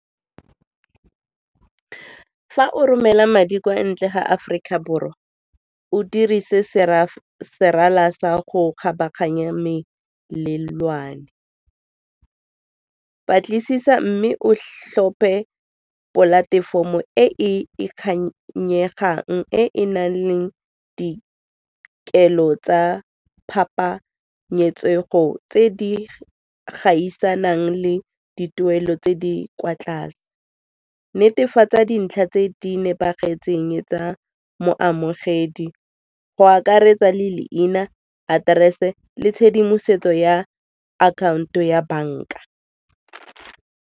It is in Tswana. Fa o romela madi kwa ntle ga Aforika Borwa o dirise serala sa go kgabaganya melelwane, batlisisa mme o tlhophe polatefomo e e e nang leng dikelo tsa phapanyetsego tse di gaisanang le dituelo tse di kwa tlase, netefatsa dintlha tse di nepagetseng tsa moamogedi go akaretsa le leina, aterese le tshedimosetso ya akhaonto ya banka.